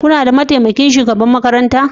Kuna da mataimakin shugaban makaranta?